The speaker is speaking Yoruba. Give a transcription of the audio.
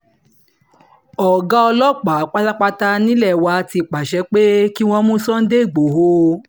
ọ̀gá ọlọ́pàá pátápátá nílé wa ti pàṣẹ pé kí wọ́n mú sunday igbodò